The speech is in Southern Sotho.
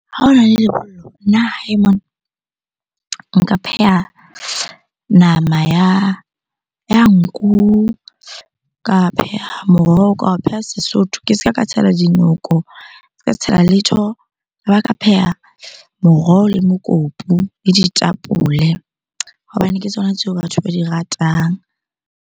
Ha hona le lebollo nna hae mona nka pheha nama ya nku, ka pheha moroho, ka o pheha Sesotho. Ke se ka ka tshela dinoko, tshela letho. Ka pheha moroho, le mokopu, le ditapole hobane ke tsona tseo batho ba di ratang.